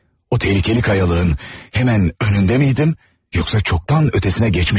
O təhlükəli qayalığın həmən önündəmiydim, yoxsa çoxdan ötesinə keçmişmiydim?